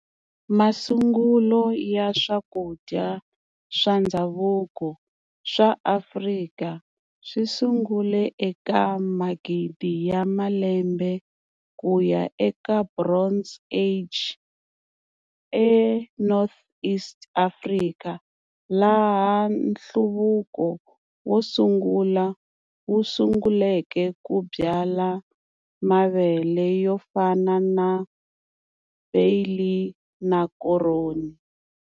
Masungulo ya swakudya swa ndzhavuko swa Afrika swisungule eka magidi ya malembe kuya eka Bronze Age eNortheast Africa, laha nhluvuko wosungula wusunguleke ku byala mavele yofana na barley na koroni.